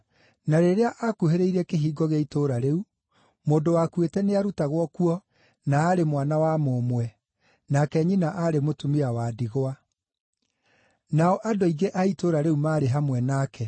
Na rĩrĩa akuhĩrĩirie kĩhingo gĩa itũũra rĩu, mũndũ wakuĩte nĩarutagwo kuo na aarĩ mwana wa mũmwe, nake nyina aarĩ mũtumia wa ndigwa. Nao andũ aingĩ a itũũra rĩu maarĩ hamwe nake.